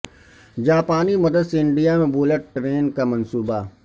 جاپانی مدد سے انڈیا میں بلٹ ٹرین کا منصوبہ